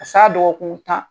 Ka s'a dɔgɔkun tan